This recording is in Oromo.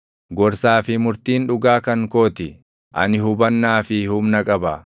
Gorsaa fi murtiin dhugaa kan koo ti; ani hubannaa fi humna qaba.